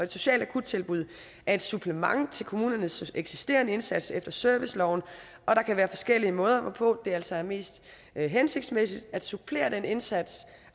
socialt akuttilbud er et supplement til kommunernes eksisterende indsats efter serviceloven og der kan være forskellige måder hvorpå det altså er mest hensigtsmæssigt at supplere den indsats